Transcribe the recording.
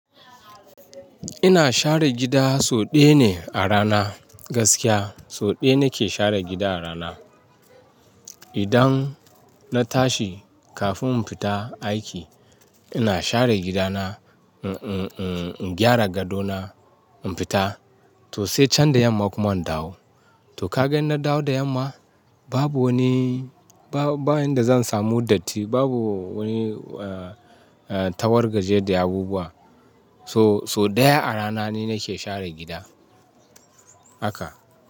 Ina share gida so ɗaya ne a rana. Gaskiya so ɗaya nake share gida a rana. Idan na tashi kafin in fita aiki, ina share gidana, uh-uh-uh, in gyara gado na in fita to sai can da yamma kuma in dawo. To ka ga in na dawo da yamma babu wani, ba-ba in da zan samu datti, babu wani, eh-eh, tawargaje da abubuwa. So-so ɗaya a rana ne nake share gida. Haka.